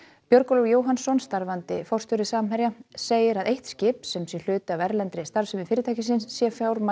Björgólfur Jóhannsson starfandi forstjóri Samherja segir að eitt skip sem sé hluti af erlendri starfsemi fyrirtækisins sé fjármagnað